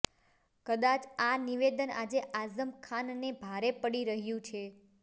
કદાચ આ નિવેદન આજે આઝમ ખાનને ભારે પડી રહ્યું છે